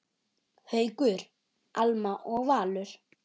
Haukur, Alma og Valur.